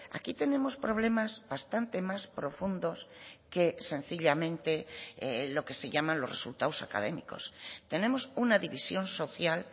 aquí tenemos problemas bastante más profundos que sencillamente lo que se llaman los resultados académicos tenemos una división social